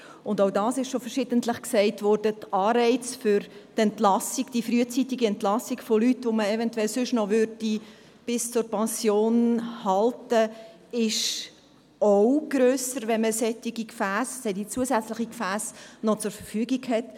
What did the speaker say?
Wie auch schon verschiedentlich gesagt wurde, ist zudem der Anreiz für die frühzeitige Entlassung von Leuten, die man sonst eventuell noch bis zur Pension halten würde, auch grösser, wenn man noch solche zusätzlichen Gefässe zur Verfügung hat.